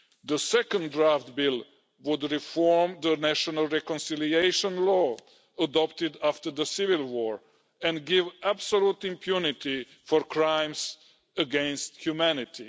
The second draft bill would reform the national reconciliation law adopted after the Civil War and give absolute impunity for crimes against humanity.